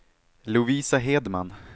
Lovisa Hedman